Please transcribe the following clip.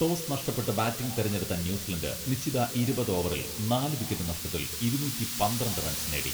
Toss നഷ്ടപ്പെട്ട് batting തെരഞ്ഞെടുത്ത New Zealand നിശ്ചിത ഇരുപത് ഓവറിൽ നാല് വിക്കറ്റ് നഷ്ടത്തിൽ ഇരുന്നൂറ്റി പന്ത്രണ്ട് റൺസ് നേടി.